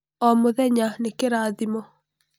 O mũthenya nĩ kĩrathimo.